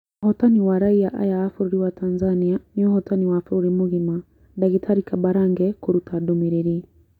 "Ũhotani wa raiya aya a bũrũri wa Tanzania, nĩ ũhotani wa bũrũri mũgima,"Dagĩtarĩ Kambarage kũruta ndũmĩrĩri